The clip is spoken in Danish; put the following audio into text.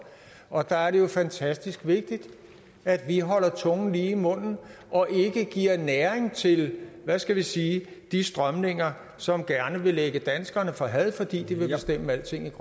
og der er det jo fantastisk vigtigt at vi holder tungen lige i munden og ikke giver næring til hvad skal vi sige de strømninger som gerne vil lægge danskerne for had fordi de vil bestemme alting